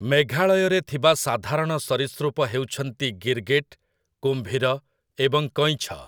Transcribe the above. ମେଘାଳୟରେ ଥିବା ସାଧାରଣ ସରୀସୃପ ହେଉଛନ୍ତି ଗିର୍ଗିଟ୍, କୁମ୍ଭୀର, ଏବଂ କଇଁଛ ।